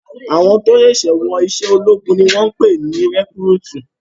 Àwọn tó ṣẹ̀ṣẹ̀ wọ iṣẹ́ ológun ni wọ́n ń pè ní rekúrútú